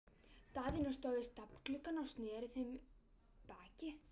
Daðína stóð við stafngluggann og sneri við þeim baki.